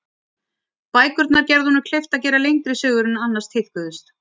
Bækurnar gerðu honum kleift að gera lengri sögur en annars tíðkuðust.